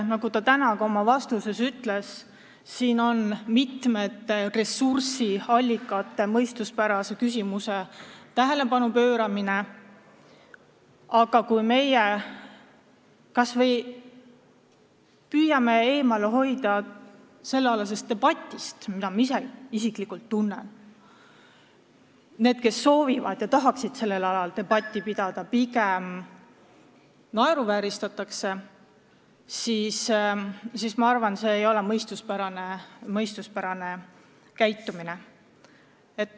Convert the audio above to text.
Nagu ta täna ka oma vastuses ütles, küsimuse all on mitmete ressursiallikate mõistuspärane kasutamine ja kui meie püüame eemale hoida sellealasest debatist – olen isiklikult tundnud seda, et neid, kes tahaksid sellel teemal debatti pidada, pigem naeruvääristatakse –, siis see ei ole mõistuspärane käitumine.